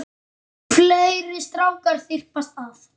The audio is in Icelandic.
Fleiri strákar þyrpast að.